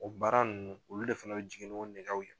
O baara ninnu olu de fana bɛ jigin n'o nɛ